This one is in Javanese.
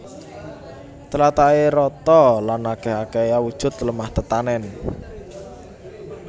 Tlatahé rata lan akèh akèhé awujud lemah tetanèn